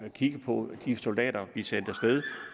kigge på de soldater vi sendte